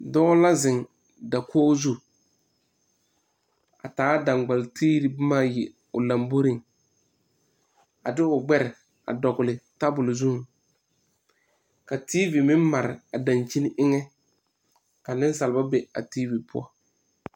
Dɔɔ la zeŋ dakogi zu a taa dangbalitiiri boma ayi o lamboriŋ a de o gbɛre dɔgle tabole zuŋ ka tiivi meŋ mare dankyini eŋɛ ka nensalba be a tiivi poɔ.